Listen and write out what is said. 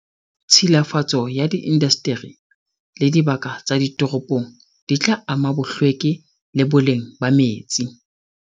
Tshilafatso ya diindasteri le dibaka tsa ditoropong di tla ama bohlweki le boleng ba metsi.